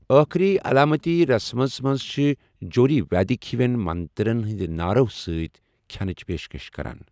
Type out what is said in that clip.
ٲخٕری علامتی رسٕمَس منٛز چھِ جوٗرۍ ویدک ہِوَن منترَن ہٕنٛدِ نعرَو سۭتۍ کھٮ۪نٕچ پیشکش کران۔